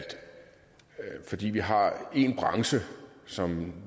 fordi vi har en branche som